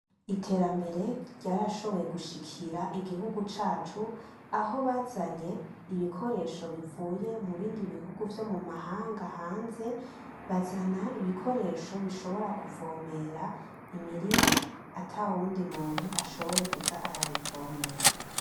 Iterambere ryarashoboye gushikira igihugu cacu, aho bazanye ibikoresho bivuye mu bindi bihugu vyo mu mahanga hanze. Bazana ibikoresho bishobora kuvomera imirima ata wundi muntu ashoboye kuza arayivomera